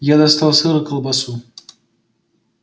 я достал сыр и колбасу